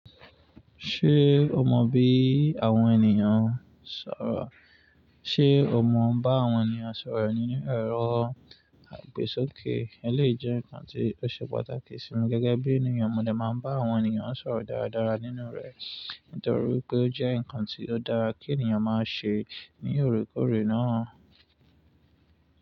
Ṣé o mọ bí àwọn ènìyàn ń sọ̀rọ̀? Ṣé o mọ bá àwọn ènìyàn sọ̀rọ̀ nínú èrọ àgbẹ́sókè? Èyán le jẹ́ ǹkan tí ó ṣe pàtàkì sí mi gẹ́gẹ́bí ènìyàn. Mo dè máa bá àwọn ènìyàn sọ̀rọ̀ dáradára nínú rẹ̀ nítorí pé ó jẹ́ ǹkan tí ó dára kí ènìyàn máa ṣe ní òrékòré náà.